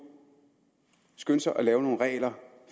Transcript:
skyndte sig at lave nogle regler